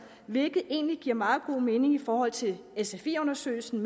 hvilket egentlig giver meget god mening i forhold til sfi undersøgelsen